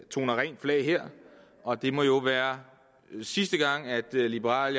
toner rent flag her og det må jo være sidste gang at liberal